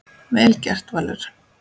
Vel gert, Valur.